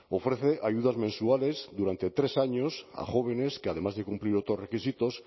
ofrece ayudas mensuales durante tres años a jóvenes que además de cumplir otros requisitos